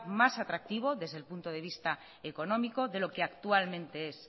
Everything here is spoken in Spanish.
más atractivo desde el punto de vista económico de lo que actualmente es